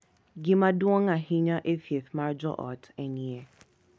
Gima duong’ ahinya e thieth mar joot en yie .